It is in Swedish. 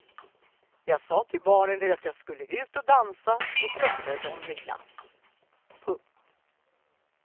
Jag sa till barnen att jag skulle ut och dansa och tröstade dem med glass. punkt